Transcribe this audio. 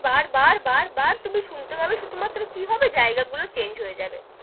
বার-বার বার-বার তুমি শুনতে পাবে শুধু মাত্র কি হবে জায়গা গুলো change হয়ে যাবে,